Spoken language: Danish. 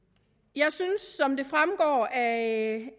jeg synes som det fremgår af